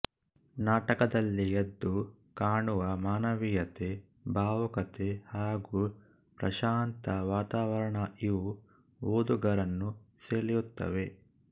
ನಾಟಕದಲ್ಲಿ ಎದ್ದು ಕಾಣುವ ಮಾನವೀಯತೆ ಭಾವುಕತೆ ಹಾಗೂ ಪ್ರಶಾಂತ ವಾತಾವರಣಇವು ಓದುಗರನ್ನು ಸೆಳೆಯುತ್ತವೆ